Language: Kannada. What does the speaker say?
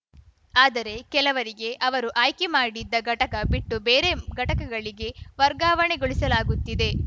ಆದರೆ ಕೆಲವರಿಗೆ ಅವರು ಆಯ್ಕೆ ಮಾಡಿದ್ದ ಘಟಕ ಬಿಟ್ಟು ಬೇರೆ ಘಟಕಗಳಿಗೆ ವರ್ಗಾವಣೆಗೊಳಿಸಲಾಗುತ್ತಿದೆ